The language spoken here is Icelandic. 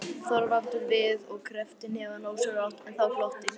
Þorvaldur við og kreppti hnefana ósjálfrátt, en þá glotti